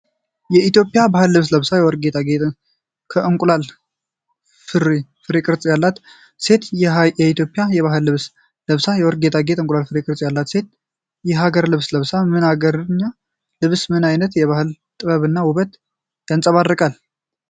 ኢትዮጵያዊ የባህል ልብስ ለብሳ፣ የወርቅ ጌጣጌጦችና የእንቁላል ፍሬ ቅርፅ ያላት ሴት፣ የሀኢትዮጵያዊ የባህል ልብስ ለብሳ፣ የወርቅ ጌጣጌጦችና የእንቁላል ፍሬ ቅርፅ ያላት ሴት፣ የሀገርኛ ልብሷ ምን አገርኛ ልብሷ ምን አይነት ባህላዊ ጥበብና ውበትን ያንፀባርቃል?